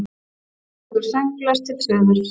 Ein flýgur sönglaus til suðurs.